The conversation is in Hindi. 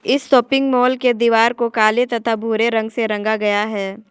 इस शॉपिंग मॉल के दीवार को काले तथा भूरे रंग से रंगा गया है।